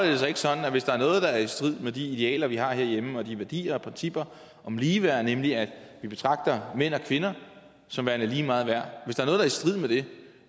det sig ikke sådan at hvis der er noget der er i strid med de idealer vi har herhjemme og de værdier og principper om ligeværd nemlig at vi betragter mænd og kvinder som værende lige meget værd